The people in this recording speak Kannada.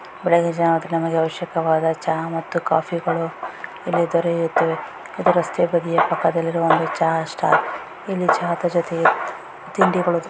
ಬೆಳೆಗ್ಗಿನ ಜಾವದಲ್ಲಿ ನಮಗೆ ಅವಶ್ಯಕವಾದ ಚಹಾ ಮತ್ತು ಕಾಫಿಗಳು ಇಲ್ಲಿ ದೊರೆಯುತ್ತವೆ ಇದು ರಸ್ತೆಯ ಬದಿಯ ಪಕ್ಕದಲ್ಲಿರುವ ಒಂದು ಚಹಾ ಸ್ಟಾಲ್ ಇಲ್ಲಿ ಚಹಾದ ಜೊತೆಗೆ ತಿಂಡಿಗಳು --